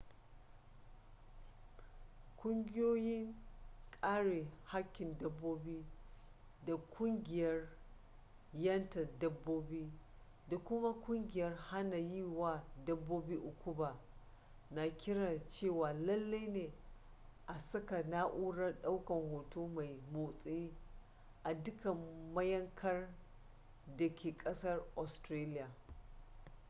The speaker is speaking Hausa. kungiyoin kare hakkin dabbobi da kungiyar yanta dabbobi da kuma kungiyar hana yi wa dabbobi ukuba na kiran cewa lallai ne a saka na'urar daukan hoto mai motsi a dukkan mayankar da ke kasar australiya